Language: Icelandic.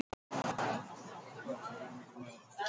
Gott að þú ert á lífi.